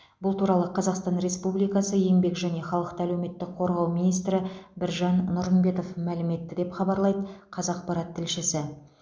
бұл туралы қазақстан республикасы еңбек және халықты әлеуметтік қорғау министрі біржан нұрымбетов мәлім етті деп хабарлайды қазақпарат тілшісі